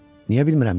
Niyə bilmirəm ki?